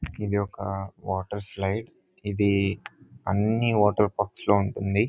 ఇది ఒక water slide . ఇది అని వాటర్ పంప్స్ లో ఉంటుంది.